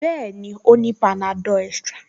Bẹ́ẹ̀ni, ó ní panadol extra